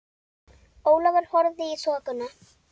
Ólafur horfði í þokuna.